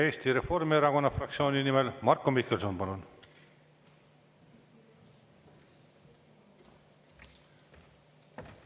Eesti Reformierakonna fraktsiooni nimel Marko Mihkelson, palun!